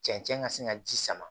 Cɛncɛn ka se ka ji sama